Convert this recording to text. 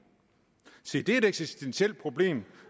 se det er et eksistentielt problem